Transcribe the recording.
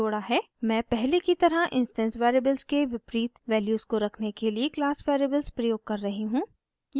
मैं पहले की तरह instance variables के विपरीत वैल्यूज़ को रखने के लिए क्लास वेरिएबल्स प्रयोग कर रही हूँ